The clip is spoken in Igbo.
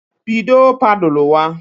Bido paduluwa